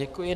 Děkuji.